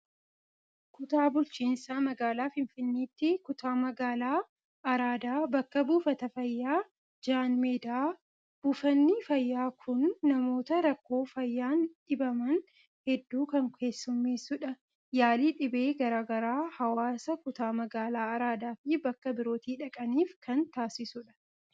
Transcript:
Kutaa Bulchiinsa Magaalaa Finfinneetti kutaa magaalaa Araadaa bakka buufata fayyaa Jaanmeedaa. Buufanni fayyaa kun namoota rakkoo fayyaan dhibaman hedduu kan keessummeessudha. Yaalii dhibee garaa garaa hawaasa kutaa magaalaa araadaa fi bakka birootii dhaqaniif kan taasisudha.